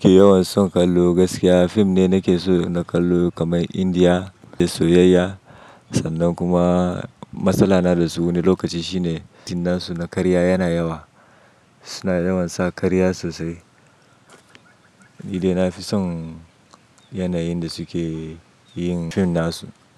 Yawan son kallo gaskiya fim ne nake so na kallo kamar India da soyayya sannan kuma matsala na da su wani lokaci shine fim nasu na karya yana yawa. Su na yawan sa karya sosai. Ni dai nafi son yanayin da su ke yin fim na su.